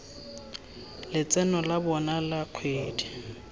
letseno la bona la kgwedi